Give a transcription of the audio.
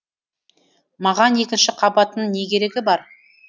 маған екінші қабаттың не керегі бар